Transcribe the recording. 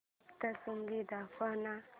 सप्तशृंगी दाखव ना